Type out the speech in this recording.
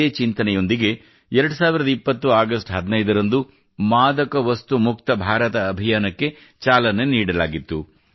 ಇದೇ ಚಿಂತನೆಯೊಂದಿಗೆ 2020 ಆಗಸ್ಟ್ 15 ರಂದು ಮಾದಕವಸ್ತು ಮುಕ್ತ ಭಾರತ ಅಭಿಯಾನಕ್ಕೆ ಚಾಲನೆ ನೀಡಲಾಗಿತ್ತು